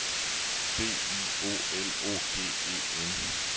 B I O L O G E N